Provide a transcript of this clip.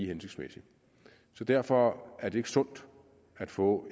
hensigtsmæssigt så derfor er det sundt at få